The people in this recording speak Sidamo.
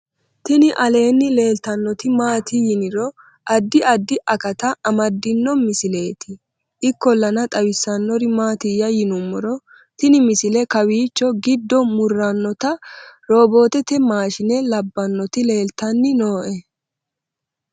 tini aleenni leeltannoti maati yiniro addi addi akata amaddino misileeti ikkollana xawissannori maatiyya yinummoro tini misile kowiicho gide muratannoti robotete mashine labbannoti leeltanni nooe